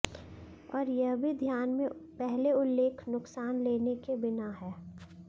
और यह भी ध्यान में पहले उल्लेख नुकसान लेने के बिना है